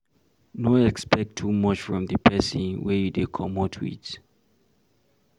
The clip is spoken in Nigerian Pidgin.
No expect too much from di person wey you dey comot with